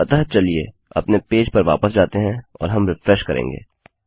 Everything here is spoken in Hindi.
अतःचलिए अपने पेज पर वापस जाते हैं और हम रिफ्रेशकरेंगे